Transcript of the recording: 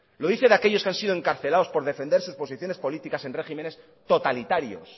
lo dice de aquellos que han sido encarcelados por defender sus posiciones políticas en regímenes totalitarios